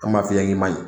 An b'a f'i ye k'i ma ɲi